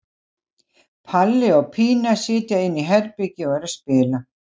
Palli og Pína sitja inni í herbergi og eru að spila.